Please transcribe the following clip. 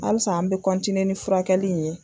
Alisa an be kɔntiniye ni furakɛli in ye